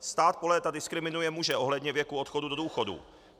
Stát po léta diskriminuje muže ohledně věku odchodu do důchodu.